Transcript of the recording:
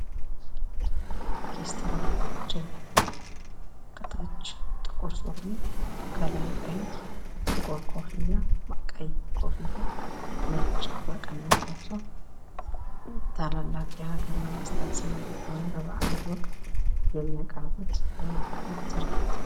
የኦርኬስትራፖች ከታች ጥቁር ሱሪ ከላይ ቀይ ቀይ ኮፍያ ነጭ መቀነት ለብሰው ታላላቅ የሀገር መንግስታት ሲመጡ ወይም በባዕላት ወቅት የመያቀርቡት የሙዚቃ ትርኢት ነው።